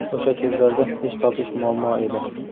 O‘sha kezlarda ish topish muammo edi.